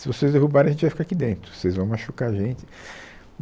Se vocês derrubarem, a gente vai ficar aqui dentro, vocês vão machucar a gente.